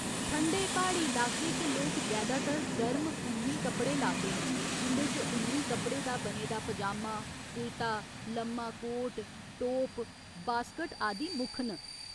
ठंडे प्हाड़ी लाके च लोक जैदातार गर्म उन्नी कपड़े लांदे न, जिं'दे च उन्नी कपड़े दा बने दा पजामा, कुर्ता, लम्मा कोट, टोप, बास्कट आदि मुक्ख न।